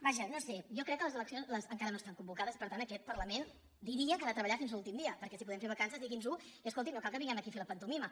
vaja no ho sé jo crec que les eleccions en·cara no estan convocades per tant aquest parlament diria que ha de treballar fins a l’últim dia perquè si podem fer vacances digui’ns·ho i escolti’m no cal que vinguem aquí a fer la pantomima